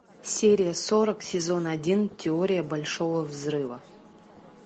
серия сорок сезон один теория большого взрыва